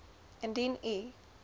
indien u